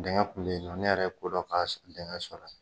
Denkɛ ku ye n yɛrɛ kodɔn ka sɔrɔ la